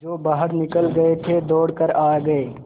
जो बाहर निकल गये थे दौड़ कर आ गये